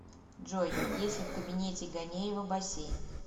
джой есть ли в кабинете ганеева бассейн